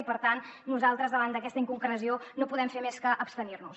i per tant nosaltres davant d’aquesta inconcreció no podem fer més que abstenir nos